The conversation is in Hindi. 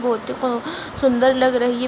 वो तो हाँ सुन्दर लग रही --